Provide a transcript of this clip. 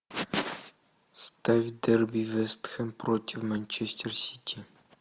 ставь дерби вест хэм против манчестер сити